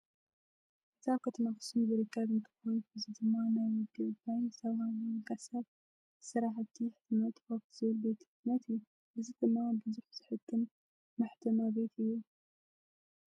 እዚ ኣብ ከተማ ኣክሱ ዝርከብ እንትኮን እዚ ድማ ናይ ወዲ ዕቡይ ዝተባሃለ ውልቀ ሰብ ስራሕቲ ሕትመት ሆፕ ዝብል ቤት ሕትመት እዩ። እዚ ድማ ቡዙሕ ዘሕትም መሕተማ ቤት እዩ።